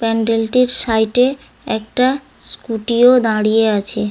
প্যান্ডেলটি side -এ একটা scooty -ও দাঁড়িয়ে আছে ।